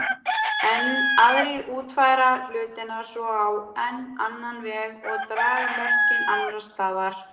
Enn aðrir útfæra hlutina svo á enn annan veg og draga mörkin annars staðar.